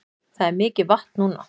Það er mikið vatn núna